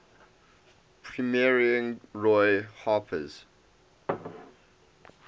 premiering roy harper's